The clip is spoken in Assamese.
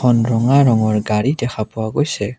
এখন ৰঙা ৰঙৰ গাড়ী দেখা পোৱা গৈছে।